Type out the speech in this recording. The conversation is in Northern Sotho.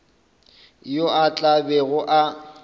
yo a tla bego a